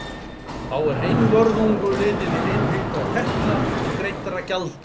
Þá er einvörðungu litið til innheimtra tekna og greiddra gjalda.